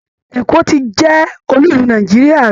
Èkó ti jẹ́ olú ìlú Nàìjíríà rí